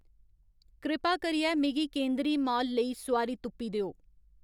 कृपा करियै मिगी केंदरी माल लेई सोआरी तुप्पी देओ